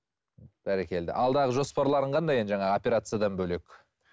бәрекелді алдағы жоспарларың қандай енді жаңағы операциядан бөлек